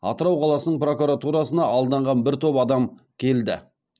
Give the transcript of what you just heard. атырау қаласының прокуратурасына алданған бір топ адам келді